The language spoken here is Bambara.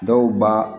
Dɔw ba